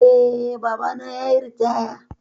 Eh, babana yayi ritaya